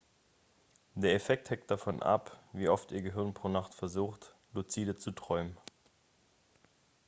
der effekt hängt davon ab wie oft ihr gehirn pro nacht versucht luzide zu träumen